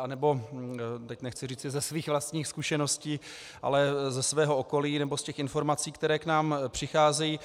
anebo - teď nechci říci ze svých vlastních zkušeností, ale ze svého okolí, nebo z těch informací, které k nám přicházejí.